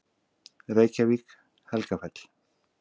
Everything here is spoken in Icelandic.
Reykjavík: Helgafell.